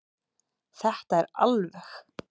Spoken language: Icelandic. Þetta er alveg.